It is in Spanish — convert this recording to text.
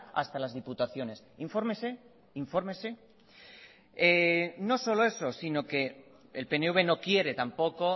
hasta las diputaciones infórmese infórmese no solo eso sino que el pnv no quiere tampoco